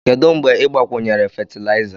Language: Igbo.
Kedu mgbe ị gbakwunyere fatịlaịza?